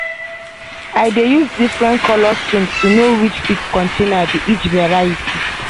i dey use different colour string to know which seed container be which variety.